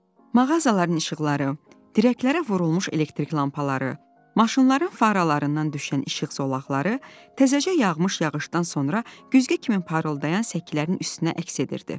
Mağazaların işıqları, dirəklərə vurulmuş elektrik lampaları, maşınların faralarından düşən işıq zolaqları təzəcə yağmış yağışdan sonra güzgü kimi parıldayan səkilərin üstünə əks etdirirdi.